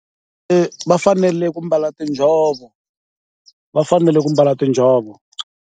E-e, va fanele ku mbala tinjhovo, va fanele ku mbala tinjhovo.